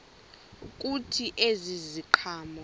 kuthi ezi ziqhamo